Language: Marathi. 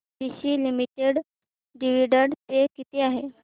एसीसी लिमिटेड डिविडंड पे किती आहे